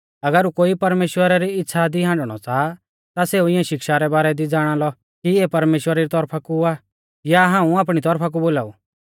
अगर कोई परमेश्‍वरा री इच़्छ़ा दी हांडणौ च़ाहा ता सेऊ इऐं शिक्षा रै बारै दी ज़ाणालौ कि इऐ परमेश्‍वरा री तौरफा कु आ या हाऊं आपणी तौरफा कु बोलाऊ